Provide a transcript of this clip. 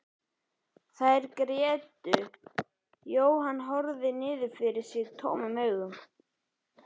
Þær grétu en Jóhann horfði niður fyrir sig tómum augum.